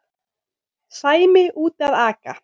Sæmi úti að aka.